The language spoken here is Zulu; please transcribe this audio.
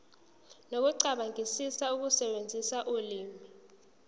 nokucabangisisa ukusebenzisa ulimi